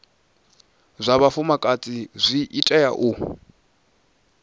zwa vhafumakadzi zwi tea u